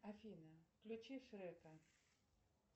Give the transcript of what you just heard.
афина включи шрека